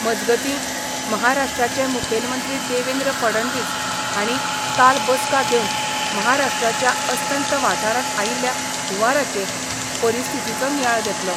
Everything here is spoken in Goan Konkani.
मजगतीं, महाराष्ट्राचे मुखेलमंत्री देवेंद्र फडणवीस हांणी काल बसका घेवन महाराष्ट्राच्या अस्तंत वाठारांत आयिल्ल्या हुंवाराचे परिस्थितीचो नियाळ घेतलो.